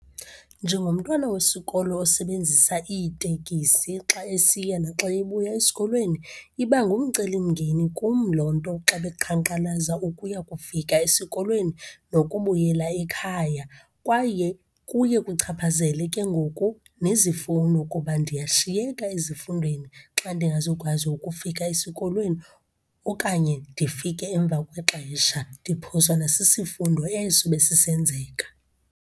Njengomntwana wesikolo osebenzisa iitekisi xa esiya naxa ebuya esikolweni, iba ngumcelimngeni kum loo nto xa beqhankqalaza, ukuya kufika esikolweni nokubuyela ekhaya. Kwaye kuye kuchaphazele ke ngoku nezifuno kuba ndiyashiyeka ezifundweni xa ndingazokwazi ukufika esikolweni okanye ndifike emva kwexesha, ndiphoswa nasisifundo eso besisenzeka.